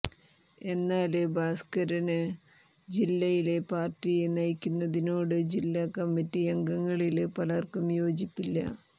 എന്നാല് ഭാസ്കരന് ജില്ലയില് പാര്ട്ടിയെ നയിക്കുന്നതിനോട് ജില്ലാ കമ്മിറ്റിയംഗങ്ങളില് പലര്ക്കും യോജിപ്പില്ല